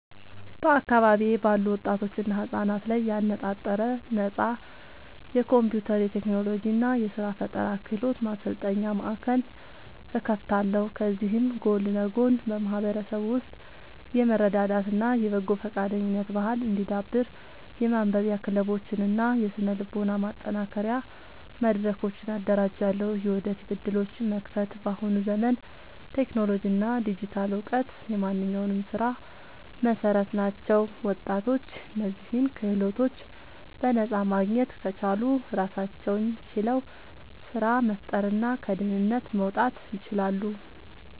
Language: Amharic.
በአካባቢዬ ባሉ ወጣቶችና ህጻናት ላይ ያነጣጠረ ነፃ የኮምፒውተር፣ የቴክኖሎጂ እና የስራ ፈጠራ ክህሎት ማሰልጠኛ ማእከል እከፍታለሁ። ከዚህም ጎን ለጎን በማህበረሰቡ ውስጥ የመረዳዳት እና የበጎ ፈቃደኝነት ባህል እንዲዳብር የማንበቢያ ክለቦችን እና የስነ-ልቦና ማጠናከሪያ መድረኮችን አደራጃለሁ። የወደፊት ዕድሎችን መክፈት፦ በአሁኑ ዘመን ቴክኖሎጂ እና ዲጂታል እውቀት የማንኛውም ስራ መሰረት ናቸው። ወጣቶች እነዚህን ክህሎቶች በነፃ ማግኘት ከቻሉ ራሳቸውን ችለው ስራ መፍጠርና ከድህነት መውጣት ይችላሉ።